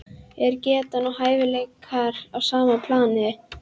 Er getan og hæfileikar á sama plani?